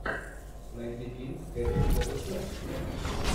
найди фильм с кэтрин зета джонс вена